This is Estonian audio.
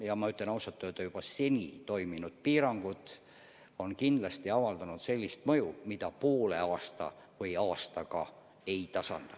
Ja ma ütlen ausalt, et seni toiminud piirangud on kindlasti avaldanud sellist mõju, mida poole aasta või aastaga ei tasanda.